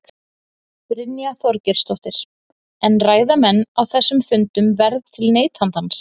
Brynja Þorgeirsdóttir: En ræða menn á þessum fundum verð til neytandans?